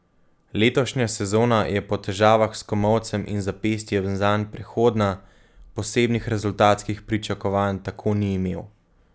Letošnja sezona je po težavah s komolcem in zapestjem zanj prehodna, posebnih rezultatskih pričakovanj tako ni imel.